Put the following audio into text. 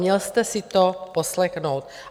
Měl jste si to poslechnout.